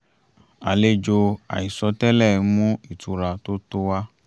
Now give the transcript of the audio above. àlejò àìsọ tẹ́lẹ̀ mú ìtura tó tó wá